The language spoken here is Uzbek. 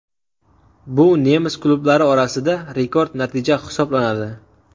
Bu nemis klublari orasida rekord natija hisoblanadi .